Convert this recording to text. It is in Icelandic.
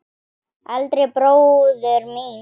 Eldri bróður míns?